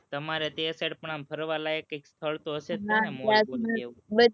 તમારે તે side પણ આમ ફરવાલાયક કંઈક સ્થળ તો હશે ને